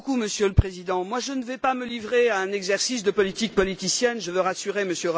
Monsieur le Président, je ne vais pas me livrer à un exercice de politique politicienne je veux rassurer M.